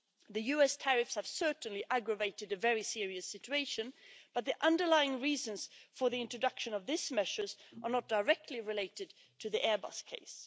The US tariffs have certainly aggravated a very serious situation, but the underlying reasons for the introduction of these measures are not directly related to the Airbus case.